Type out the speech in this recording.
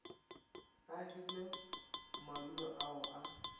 o hirile madulo ao a